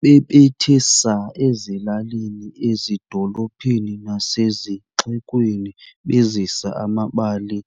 Bebethe saa ezilalini, ezidolophini nasezixekweni, bezisa amabali